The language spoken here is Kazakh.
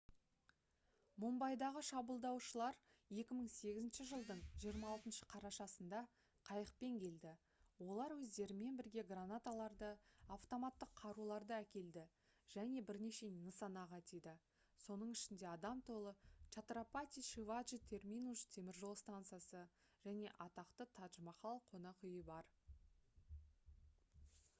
мумбайдағы шабуылдаушылар 2008 жылдың 26 қарашасында қайықпен келді олар өздерімен бірге гранаталарды автоматтық қаруларды әкелді және бірнеше нысанаға тиді соның ішінде адам толы чатрапати шиваджи терминус теміржол станциясы және атақты тадж-махал қонақүйі бар